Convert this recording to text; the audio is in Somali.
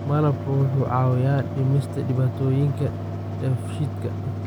Malabka wuxuu caawiyaa dhimista dhibaatooyinka dheefshiidka.